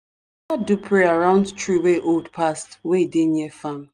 prayer round tree wey old pass wey dey near farm.